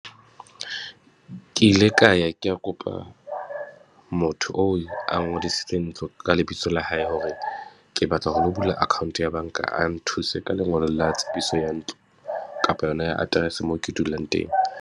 Ke ile ka ya ke ya kopa motho o a ngodisitswe ntlo ka lebitso la hae, hore ke batla ho lo bula account ya bank a nthuse ka lengolo la tsebiso ya ntlo, kapa yona ya address moo ke dulang teng.